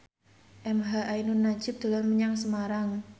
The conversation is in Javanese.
emha ainun nadjib dolan menyang Semarang